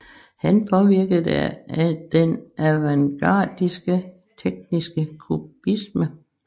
Han påvirkede den avantgardistiske tjekkiske kubisme